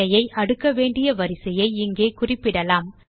விடையை அடுக்க வேண்டிய வரிசையை இங்கே குறிப்பிடலாம்